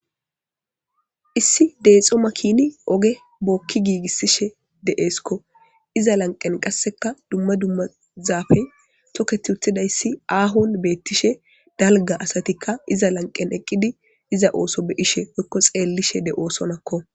issi deexxo makini oge bookki giigissishe de'eeskko iza lanqen qasseka dumma dumma zafey tokketi uttidayssi aahon beettishe dalga asatikka iza lanqen eqqidi iza ooso be'ishe oykko xeellishe de'oosonakko